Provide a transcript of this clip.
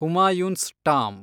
Humayun's tomb